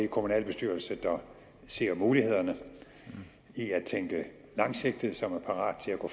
kommunalbestyrelser der ser mulighederne i at tænke langsigtet og som er parate til at gå